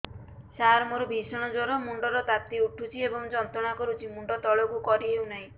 ସାର ମୋର ଭୀଷଣ ଜ୍ଵର ମୁଣ୍ଡ ର ତାତି ଉଠୁଛି ଏବଂ ଯନ୍ତ୍ରଣା କରୁଛି ମୁଣ୍ଡ ତଳକୁ କରି ହେଉନାହିଁ